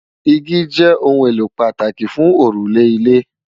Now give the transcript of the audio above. Igi jè óùn éló pàtáki fùn órúlè ilé